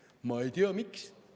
Ma ei tea, miks.